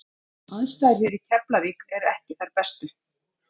Aðstæður hér í Keflavík eru ekki þær bestu.